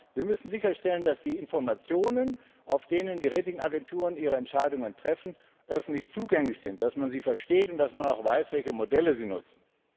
Zweitens, wir müssen sicherstellen, dass die Informationen, nach denen die Rating Agenturen ihre Entscheidungen treffen, öffentlich zugänglich sind, dass man sie versteht und dass man auch weiß, welche Modelle sie nutzen.